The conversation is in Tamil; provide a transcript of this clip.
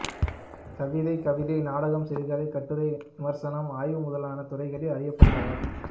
கவிதை கவிதை நாடகம் சிறுகதை கட்டுரை விமர்சனம் ஆய்வு முதலான துறைகளில் அறியப்பட்டவர்